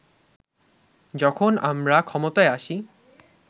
যখন আমরা ক্ষমতায় আসি